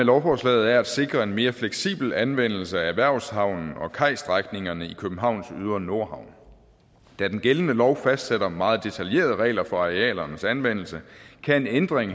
lovforslaget er at sikre en mere fleksibel anvendelse af erhvervshavnen og kajstrækningerne i københavns ydre nordhavn da den gældende lov fastsætter meget detaljerede regler for arealernes anvendelse kan en ændring